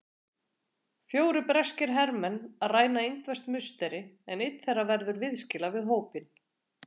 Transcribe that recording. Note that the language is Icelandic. Fjórir breskir hermenn ræna indverskt musteri, en einn þeirra verður viðskila við hópinn.